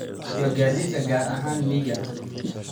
iyo gaadiidka gaar ahaan miyiga.